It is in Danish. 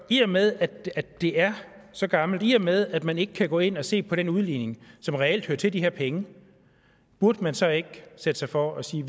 i og med at det er så gammelt i og med at man ikke kan gå ind og se på den udligning som reelt hører til de her penge burde man så ikke sætte sig for at sige